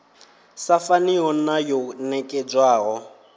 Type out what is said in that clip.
sa faniho na yo nekedzwaho